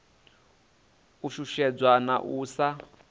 u shushedzwa na u sa